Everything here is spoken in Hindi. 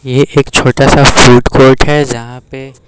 ये एक छोटा सा फूड कोर्ट है जहां पे --